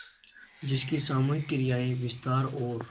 जिसकी सामूहिक क्रियाएँ विस्तार और